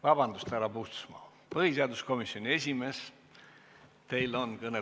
Vabandust, härra Puustusmaa, põhiseaduskomisjoni esimees, kõnetool on teie.